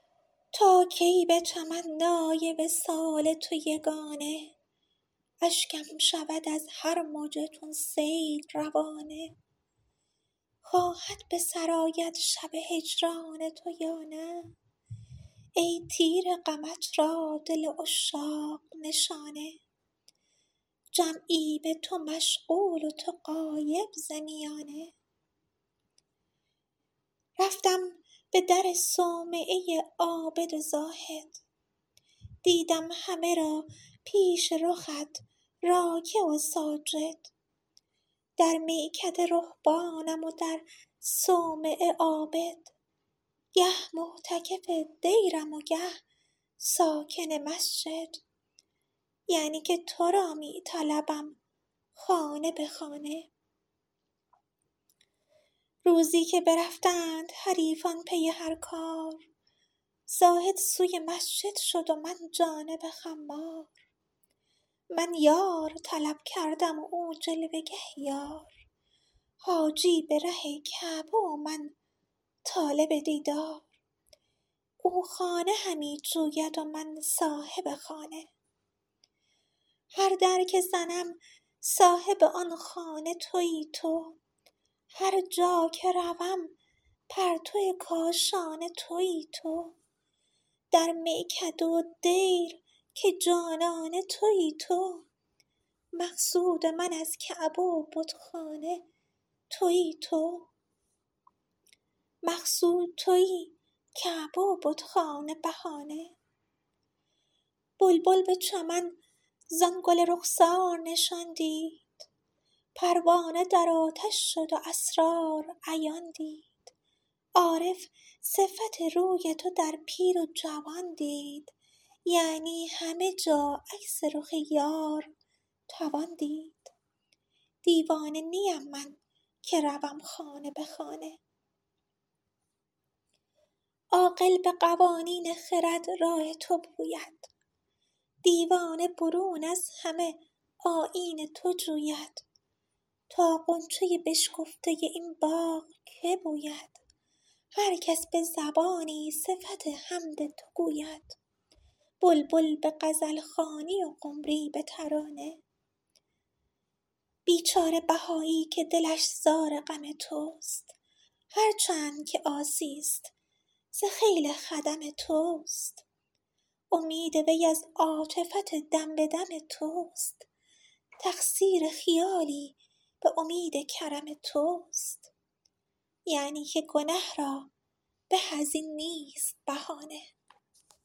تا کی به تمنای وصال تو یگانه اشکم شود از هر مژه چون سیل روانه خواهد به سر آید شب هجران تو یا نه ای تیر غمت را دل عشاق نشانه جمعی به تو مشغول و تو غایب ز میانه رفتم به در صومعه عابد و زاهد دیدم همه را پیش رخت راکع و ساجد در میکده رهبانم و در صومعه عابد گه معتکف دیرم و گه ساکن مسجد یعنی که تو را می طلبم خانه به خانه روزی که برفتند حریفان پی هر کار زاهد سوی مسجد شد و من جانب خمار من یار طلب کردم و او جلوه گه یار حاجی به ره کعبه و من طالب دیدار او خانه همی جوید و من صاحب خانه هر در که زنم صاحب آن خانه تویی تو هرجا که روم پرتو کاشانه تویی تو در میکده و دیر که جانانه تویی تو مقصود من از کعبه و بتخانه تویی تو مقصود تویی کعبه و بتخانه بهانه بلبل به چمن زان گل رخسار نشان دید پروانه در آتش شد و اسرار عیان دید عارف صفت روی تو در پیر و جوان دید یعنی همه جا عکس رخ یار توان دید دیوانه نیم من که روم خانه به خانه عاقل به قوانین خرد راه تو پوید دیوانه برون از همه آیین تو جوید تا غنچه بشکفته این باغ که بوید هرکس به زبانی صفت حمد تو گوید بلبل به غزلخوانی و قمری به ترانه بیچاره بهایی که دلش زار غم توست هرچند که عاصی است ز خیل خدم توست امید وی از عاطفت دم به دم توست تقصیر خیالی به امید کرم توست یعنی که گنه را به از این نیست بهانه